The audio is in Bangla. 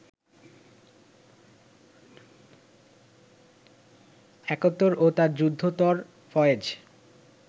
একাত্তর ও তার যুদ্ধোত্তর ফয়েজ